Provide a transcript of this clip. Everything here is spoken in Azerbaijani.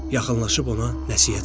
Yaxınlaşıb ona nəsihət verdi.